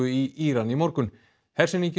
í Íran í morgun